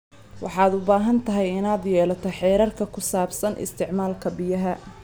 Waxaad u baahan tahay inaad yeelato xeerar ku saabsan isticmaalka biyaha.